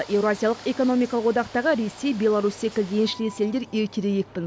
еуразиялық экономикалық одақтағы ресей беларусь секілді еншілес елдер ертерек екпін